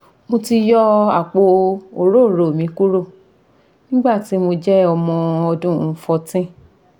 mo ti yọ apo orooro mi kuro nigbati mo jẹ ọmọ ọdun fourteen